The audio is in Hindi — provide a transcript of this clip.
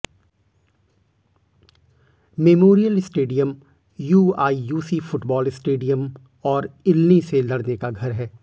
memorial stadium UIUC football stadium और इल्नी से लड़ने का घर है